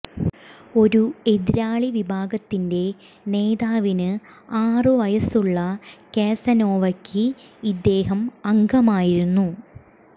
ഒരു എതിരാളി വിഭാഗത്തിന്റെ നേതാവിന് ആറ് വയസുള്ള കാസനോവയ്ക്ക് ഇദ്ദേഹം അംഗമായിരുന്നു